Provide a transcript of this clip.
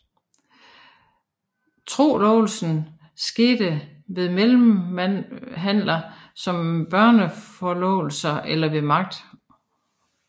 Trolovelsen skete ved mellemhandler som børneforlovelser eller ved magt